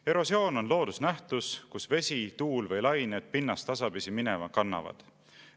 Erosioon on loodusnähtus, kus vesi, tuul või lained pinnast tasapisi minema kannavad.